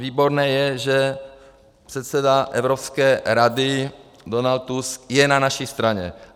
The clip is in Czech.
Výborné je, že předseda Evropské rady Donald Tusk je na naší straně.